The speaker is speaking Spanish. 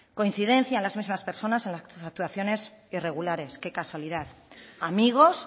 coincidencia en las mismas personas en las actuaciones irregulares qué casualidad amigos